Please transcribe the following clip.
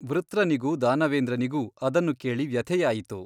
ವೃತ್ರನಿಗೂ ದಾನವೇಂದ್ರನಿಗೂ ಅದನ್ನು ಕೇಳಿ ವ್ಯಥೆಯಾಯಿತು.